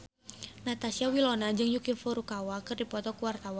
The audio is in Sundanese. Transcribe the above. Natasha Wilona jeung Yuki Furukawa keur dipoto ku wartawan